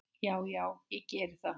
Já já, ég gerði það.